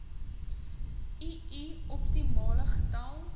ii optimale getal